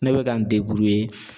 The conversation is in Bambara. Ne bɛ ka n